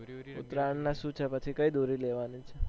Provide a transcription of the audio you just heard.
ઉતરાણ ને શું છે કઈ દોરી લેવાની છે